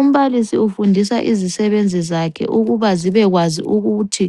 Umbalisi ufundisa izisebenzi zakhe ukuba zibekwazi ukuthi